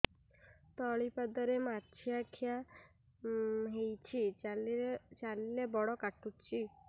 ତଳିପାଦରେ ମାଛିଆ ଖିଆ ହେଇଚି ଚାଲିଲେ ବଡ଼ କାଟୁଚି